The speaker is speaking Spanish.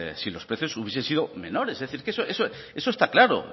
si los precios hubiesen sido menores es decir que eso está claro